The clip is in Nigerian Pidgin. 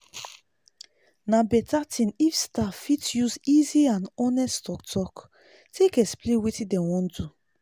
na better thing if staff fit use easy and honest talk talk take explain wetin dem wan do.